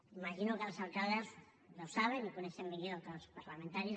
imagino que els alcaldes ja ho saben i ho coneixen millor que els parlamentaris